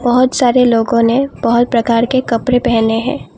बहुत सारे लोगों ने बहुत प्रकार के कपड़े पहने हैं।